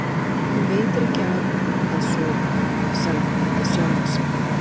Honum veitir ekki af að sofa, sagði hún við sjálfa sig.